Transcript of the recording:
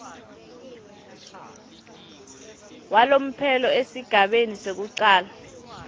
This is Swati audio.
walomphelo esigabeni sekucala